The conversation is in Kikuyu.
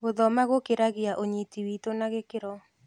Gũthoma gũkĩragia ũnyiti witũ na gĩkĩro.